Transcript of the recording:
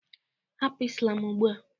Hapụ islam ugbua!